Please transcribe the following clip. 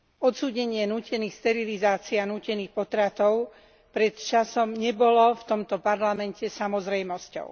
Odsúdenie nútených sterilizácií a nútených potratov pred časom nebolo v tomto Parlamente samozrejmosťou.